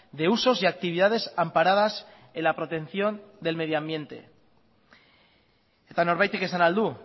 de usos y actividades amparadas en la protección del medio ambiente eta norbaitek esan ahal du